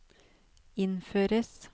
innføres